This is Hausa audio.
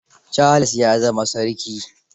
Charles ya za ma sarki.